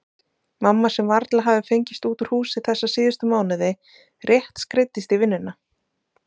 Mamma sem varla hafði fengist út úr húsi þessa síðustu mánuði, rétt skreiddist í vinnuna-?